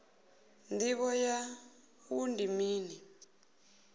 ndivho ya wua ndi mini